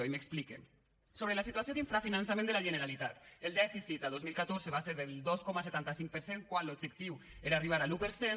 i m’explique sobre la situació d’infrafinançament de la generalitat el dèficit a dos mil catorze va ser del dos coma setanta cinc per cent quan l’objectiu era arribar a l’un per cent